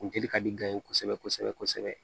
Funteni ka di kosɛbɛ kosɛbɛ